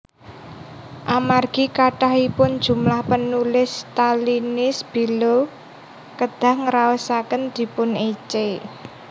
Amargi kathahipun jumlah panulis Stalinis Bellow kedah ngraosaken dipunécé